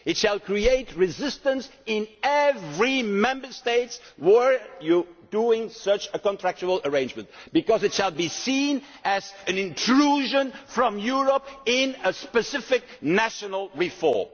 It would create resistance in every Member State were you to make such a contractual arrangement, because it would be seen as an intrusion from Europe in a specific national reform.